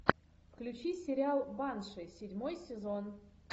включи сериал банши седьмой сезон